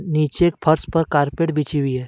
नीचे फर्श पर कारपेट बिछी हुई है।